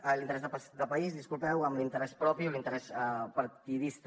ai l’interès de país disculpeu amb l’interès propi o l’interès partidista